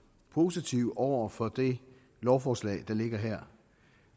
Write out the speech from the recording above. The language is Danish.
positiv over for det lovforslag der ligger her